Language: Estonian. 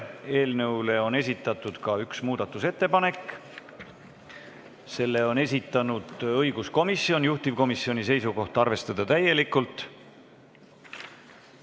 Eelnõu kohta on esitatud ka üks muudatusettepanek, selle on esitanud õiguskomisjon, ja juhtivkomisjoni seisukoht on: arvestada täielikult.